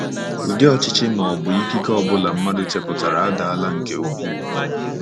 Ụdị ọchịchị ma ọ bụ ikike ọ bụla mmadụ chepụtara adaala nke ukwuu.